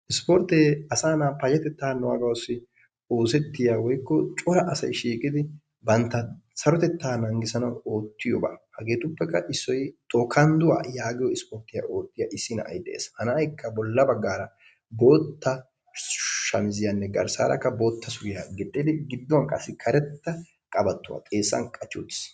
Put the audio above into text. Issippoorttee asaa na'a payatettaa naaguwaassi oosettiya woykko cora assy shiiqqidi bantta sarotettaa nanggissanawu oottiyoba hegeetuppekka issoy tokkandduwa yaggiyo issippoorttiya oottiya issi na'ay de'ees. Ha na'aykka bolla baggaara bootta shamiziyanne garssarakka boottaa suriya gixxidi gidduwan qassi karettaa qabattuwa xeessan qachchi uttiis.